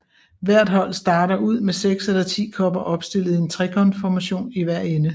Hvert hold starter ud med 6 eller 10 kopper opstillet i en trekantformation i hver ende